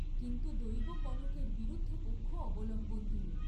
কিন্তু দৈব কনকের বিরুদ্ধ পক্ষ অবলম্বন দিল।